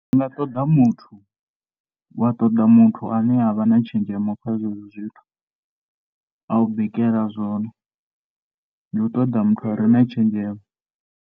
Ndi nga ṱoḓa muthu, wa ṱoḓa muthu ane a vha na tshenzhemo kha zwenezwo zwithu. A u bikela zwone. Ndi u ṱoḓa muthu a re na tshenzhemo.